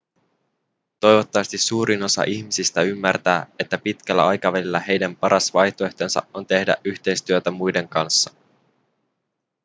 toivottavasti suurin osa ihmisistä ymmärtää että pitkällä aikavälillä heidän paras vaihtoehtonsa on tehdä yhteistyötä muiden kanssa